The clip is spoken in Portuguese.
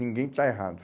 Ninguém está errado.